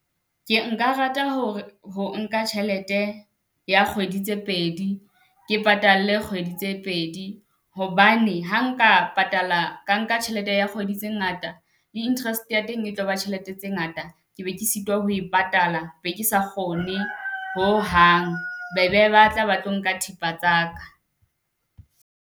Ke nka rata hore ho nka tjhelete ya kgwedi tse pedi. Ke patalle kgwedi tse pedi hobane ha nka patala ka nka tjhelete ya kgwedi tse ngata, di-interest ya teng e tlaba tjhelete tse ngata. Ke be ke sitwa ho e patala. E be ke sa kgone ho hang, be be ba tla ba tlo nka thepa tsaka.